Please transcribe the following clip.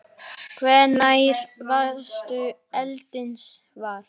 Hvenær varðstu eldsins var?